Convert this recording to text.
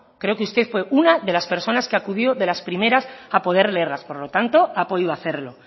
creo que usted fue una de las personas que acudió de las primeras a poder leerlas por lo tanto ha podido hacerlo